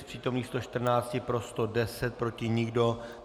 Z přítomných 114 pro 110, proti nikdo.